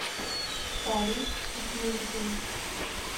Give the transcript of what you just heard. фарит акмурзин